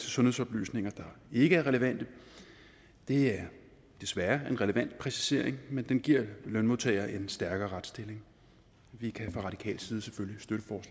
sundhedsoplysninger der ikke er relevante det er desværre en relevant præcisering men den giver lønmodtagere en stærkere retsstilling vi kan fra radikal side selvfølgelig